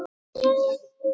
Þaðan sé fáninn kominn.